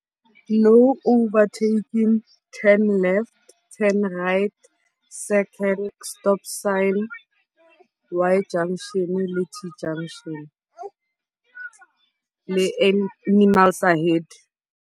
No overtaking, turn left, turn right, circle, stop sign, Y-Junction le T-Junction le animals ahead.